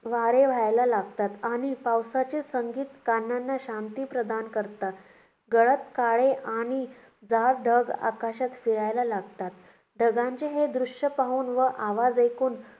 वारे वाहायला लागतात आणि पावसाचे संगीत कानांना शांती प्रदान करतात. गडद काळे आणि जाड ढग आकाशात फिरायला लागतात. ढगांचे हे दृश्य पाहून व आवाज ऐकून